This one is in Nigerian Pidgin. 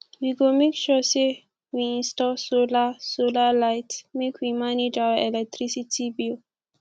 we go make sure sey we install solar solar light make we manage our electricity bill